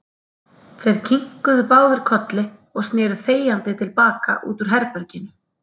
Þeir kinkuðu báðir kolli og sneru þegjandi til baka út úr herberginu.